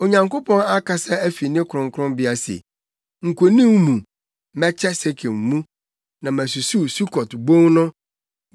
Onyankopɔn akasa afi ne kronkronbea se, “Nkonim mu, mɛkyɛ Sekem mu, na masusuw Sukot bon no.